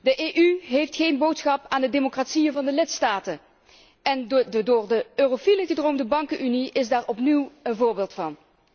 De EU heeft geen boodschap aan de democratieën van de lidstaten en de door de eurofielen gedroomde bankenunie is daar opnieuw een voorbeeld van.